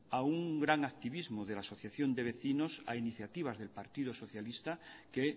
a un gran activismo de la asociación de vecino a iniciativa del partido socialista que